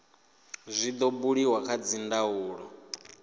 zwi do buliwa kha dzindaulo